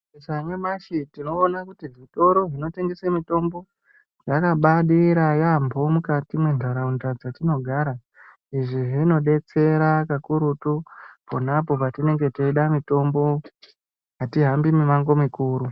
Saka nyamashi tinoona kuti zvitoro zvonotengesa mutombo yakabaidira yaampho mukati mentaraunda yatinogara izvi zvinobetsera kakurutu ponapo patinenge teida mutombo .Atihambi mumango mukuru .